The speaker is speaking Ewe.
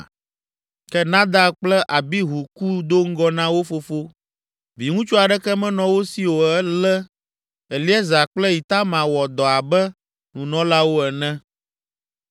Ke Nadab kple Abihu ku do ŋgɔ na wo fofo; viŋutsu aɖeke menɔ wo si o ale Eleazar kple Itamar wɔ dɔ abe nunɔlawo ene.